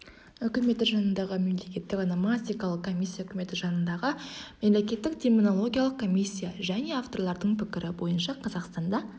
үкіметі жанындағы мемлекеттік ономастикалық комиссия үкіметі жанындағы мемлекеттік терминологиялық комиссия және авторлардың пікірі бойынша қазақстанда